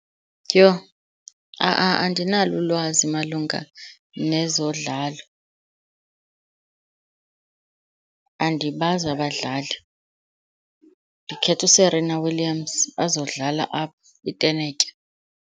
Yoh, andinalo ulwazi malunga nezodlalo. Andibazi abadlali. Ndikhetha uSerena Williams azodlala apha intenetya.